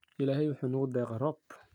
Illahey wuxu nugudeeqe roob.